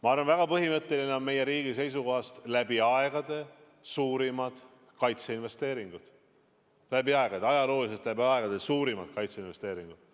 Ma arvan, et väga põhimõtteline on see, et meil on meie riigi seisukohast läbi aegade suurimad kaitseinvesteeringud.